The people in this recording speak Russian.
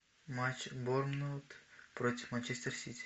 матч борнмут против манчестер сити